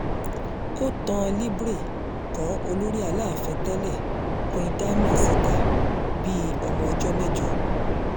ó tán libre kọ́ olórí aláàfin tẹ́lẹ̀ queen dami síta bíi ọmọ ọjọ́ mẹ́jọ